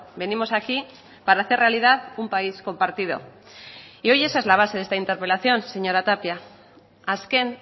venimos aquí para hacer realidad un país compartido y hoy esa es la base de esta interpelación señora tapia azken